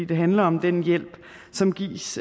det handler om den hjælp som gives